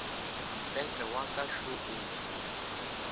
mpete wa ka šo o